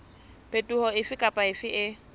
phetoho efe kapa efe e